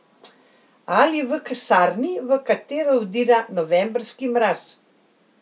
Ali v kasarni, v katero vdira novembrski mraz.